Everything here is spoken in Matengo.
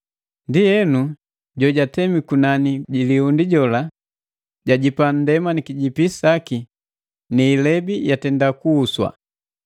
Ndienu jola jojatemi kunani ji liundi jwajipa nndema ni kijipi saki, ni ilebi yatenda kubongwa.